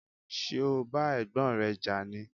Ṣé o bá Ẹ̀gbọ́n rẹ jà ni?